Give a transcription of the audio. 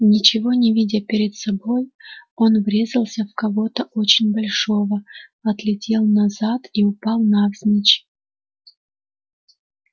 ничего не видя перед собой он врезался в кого-то очень большого отлетел назад и упал навзничь